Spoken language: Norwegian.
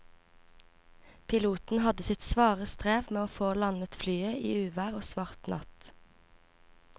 Piloten hadde sitt svare strev med å få landet flyet i uvær og svart natt.